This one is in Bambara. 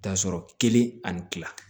Taa sɔrɔ kelen ani kila